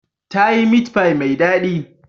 Ta yi meat pie mai daɗi.